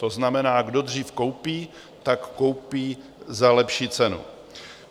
To znamená, kdo dřív koupí, tak koupí za lepší cenu.